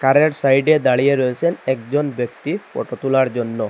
কারের সাইডে দাঁড়িয়ে রয়েসেন একজন ব্যক্তি ফটো তোলার জন্য।